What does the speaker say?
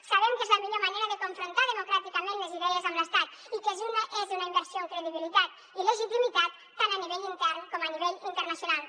sabem que és la millor manera de confrontar democràticament les idees amb l’estat i que és una inversió en credibilitat i legitimitat tant a nivell intern com a nivell internacional